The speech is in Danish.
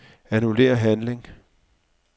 Annullér handling.